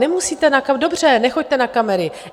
Nemusíte na kamery, dobře, nechoďte na kamery.